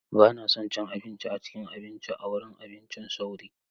Ba na son cin abinci a cikin abinci a wurin abincin sauri.